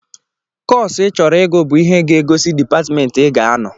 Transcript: Kọsu ị chọrọ ịgụ bụ ihe ga-egosi dịpatmentị ị ga-anọ